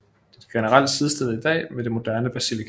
Det er generelt sidestillet i dag med det moderne Belasica